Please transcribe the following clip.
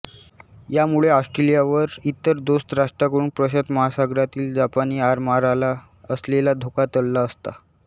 यामुळे ऑस्ट्रेलिया वर इतर दोस्त राष्ट्रांकडून प्रशांत महासागरातील जपानी आरमाराला असलेला धोका टळला असता